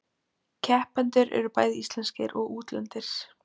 Keppendur eru bæði íslenskir og útlendir